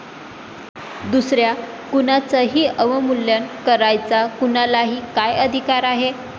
दुसऱ्या कुणाचंही अवमूल्यन करायचा कुणालाही काय अधिकार आहे?